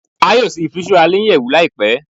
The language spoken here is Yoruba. A yoo ṣe ifiṣura ni iyẹwu laipe